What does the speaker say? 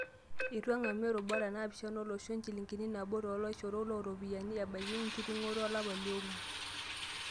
Eitu eng'amu irubat naapishana olosho enjilingi nabo too laishorok loo ropiyiani ebaiki enking'oto olapa le onguan.